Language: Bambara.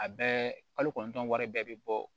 A bɛɛ kalo kɔnɔntɔn wari bɛɛ bɛ bɔ